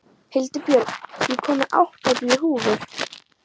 Hildibjörg, ég kom með áttatíu húfur!